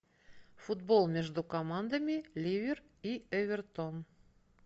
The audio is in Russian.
футбол между командами ливер и эвертон